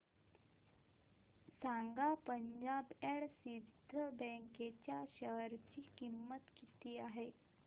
सांगा Punjab and Sind bank च्या share ची किंमत किती आहे